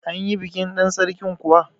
Anyi bikin ɗan Sarkin kuwa?